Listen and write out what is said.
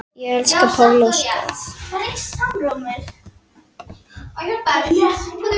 Ég elska Pál Óskar.